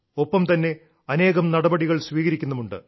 ഒപ്പം തന്നെ അനേകം നടപടികൾ സ്വീകരിക്കുന്നുമുണ്ട്